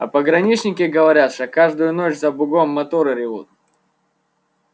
а пограничники говорят что каждую ночь за бугом моторы ревут